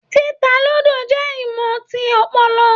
Títà ludo jẹ ìmọ tí ọpọlọ.